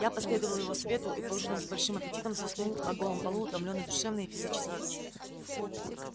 я последовал его совету и поужинав с большим аппетитом заснул на голом полу утомлённый душевно и физически